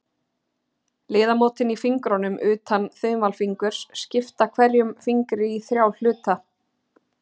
Liðamótin í fingrunum, utan þumalfingurs, skipta hverjum fingri í þrjá hluta.